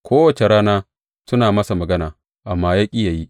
Kowace rana suna masa magana, amma ya ƙi yă yi.